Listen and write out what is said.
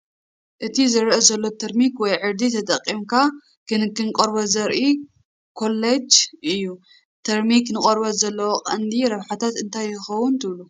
እቲ ዝርአ ዘሎ ተርሚክ ወይ ዕርዲ ተጠቒምካ ክንክን ቆርበት ዘርኢ ኮላጅ እዩ። ተርሚክ ንቆርበት ዘለዎ ቀንዲ ረብሓታት እንታይ ይኸውን ትብሉ?